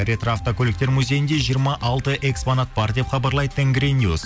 ретроавткөліктер музейінде жиырма алты экспонат бар деп хабарлайды тенгринюс